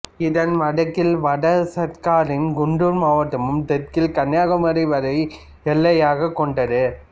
இதன் வடக்கில் வட சர்க்காரின் குண்டூர் மாவட்டமும் தெற்கில் கன்னியாகுமரி வரை எல்லையாகக் கொண்டது